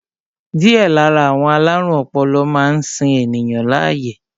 Díẹ̀ lára àwọn alárùn ọpọlọ máa ń sin ènìyàn láàyè